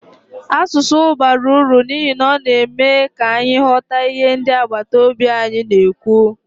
Asụsụ bara uru n'ihi na ọ na-eme ka anyị ghọta ihe ndị agbataobi anyị na-ekwu.